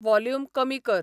volume कमी कर